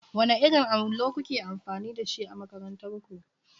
Wanne irin allo kuke amfani da shi a makarantar ku?